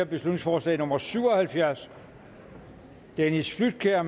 beslutningsforslag nummer b syv og halvfjerds dennis flydtkjær